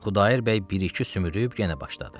Xudayar bəy bir-iki sümrüyüb yenə başladı.